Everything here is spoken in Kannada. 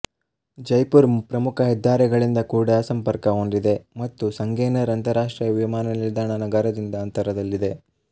ಜೈಪುರ್ ಪ್ರಮುಖ ಹೆದ್ದಾರಿಗಳಿಂದ ಕೂಡ ಸಂಪರ್ಕ ಹೊಂದಿದೆ ಮತ್ತು ಸಂಗೆನರ್ ಅಂತರರಾಷ್ಟ್ರೀಯ ವಿಮಾನ ನಿಲ್ದಾಣ ನಗರದಿಂದ ಅಂತರದಲ್ಲಿದೆ